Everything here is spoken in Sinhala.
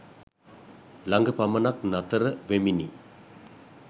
ළඟ පමණක් නතර වෙමිනි